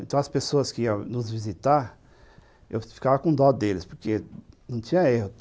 Então, as pessoas que iam nos visitar, eu ficava com dó deles, porque não tinha erro.